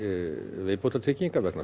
viðbótartryggingar vegna